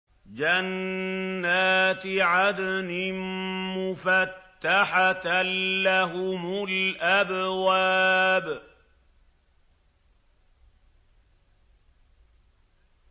جَنَّاتِ عَدْنٍ مُّفَتَّحَةً لَّهُمُ الْأَبْوَابُ